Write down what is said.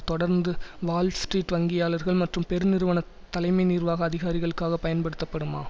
தொடர்ந்து வால்ஸ்ட்ரீட் வங்கியாளர்கள் மற்றும் பெருநிறுவன தலைமை நிர்வாக அதிகாரிகளுக்காக பயன்படுத்தப்படுமா